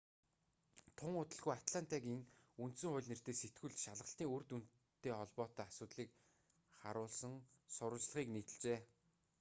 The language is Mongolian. тун удалгүй атлантагийн үндсэн хууль нэртэй сэтгүүл шалгалтын үр дүнтэй холбоотой асуудлыг харуулсан сурвалжлагыг нийтэлжээ